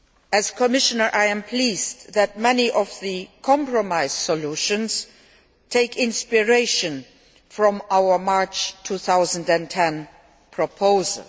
As Commissioner, I am pleased that many of the compromise solutions take inspiration from our March 2010 proposal.